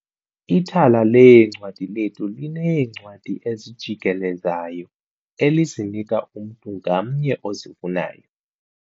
Ithala leencwadi lethu lineencwadi ezijikelezayo elizinika umntu ngamnye ozifunayo.